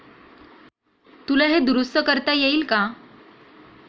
तुला हे दुरुस्त करता येईल का?